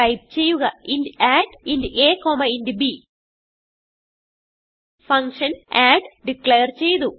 type ചെയ്യുക int addഇന്റ് a int b function add declare ചെയ്തു